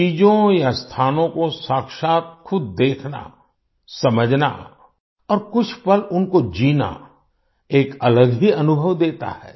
चीजों या स्थानों को साक्षात् खुद देखना समझना और कुछ पल उनको जीना एक अलग ही अनुभव देता है